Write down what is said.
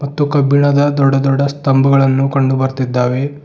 ಮತ್ತು ಕಬ್ಬಿಣದ ದೊಡ್ಡ ದೊಡ್ಡ ಸ್ತಂಭಗಳನ್ನು ಕಂಡು ಬರ್ತಿದ್ದಾವೆ.